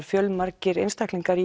fjölmargir einstaklingar